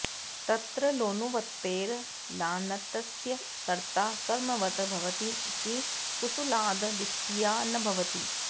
तत्र लानुवृत्तेर् लान्तस्य कर्ता कर्मवद् भवति इति कुसूलाद् द्वितीया न भवति